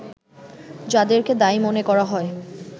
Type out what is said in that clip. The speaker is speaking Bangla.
যাদেরকে দায়ী মনে করা হয়